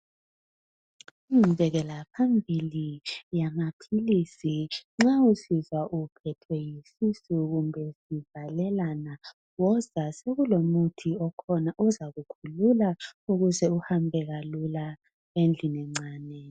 Inqubekelaphambili yamaphilizi nxa usizwa uphethwe yisisu kumbe sivalelana woza sekulomuthi okhona uzakukhulula ukuze uhambe kalula endlini encane.